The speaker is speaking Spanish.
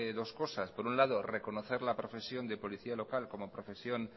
dos cosas por un lado reconocer la profesión de policía local como profesión